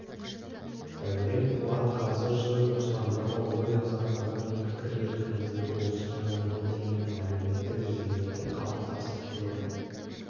дәурен қуат қазір сөз бостандығы ой азаттығы мен пікір еркіндігі осы жаңа медиа мен әлеуметтік желілерде қалыптасып келеді